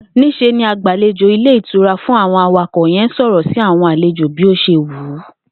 Ní s̩e ni agbàlejò ilé ìtura fún àwo̩n awakò̩ ye̩n ń sò̩rò̩ sí àwo̩n àlejò bí ó s̩e wùú